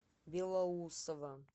белоусово